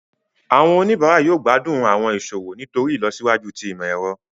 Awọn onibara yóò gbadun awọn iṣowo nitori ilosiwaju ti imọ-ẹrọ.